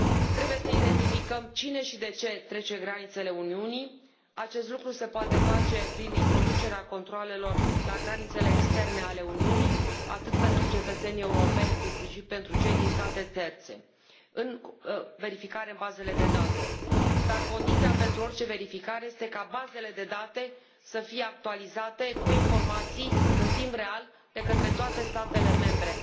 Trebuie să identificăm cine și de ce trece granițele Uniunii, acest lucru se poate face prin introducerea controalelor la granițele externe ale Uniunii atât pentru cetățenii europeni, cât și pentru cei din state terțe, prin verificarea în bazele de date, dar condiția pentru orice verificare este ca bazele de date să fie actualizate cu informații în timp real de către toate statele membre.